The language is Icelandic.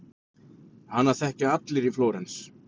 Hana þekkja allir í Flórens.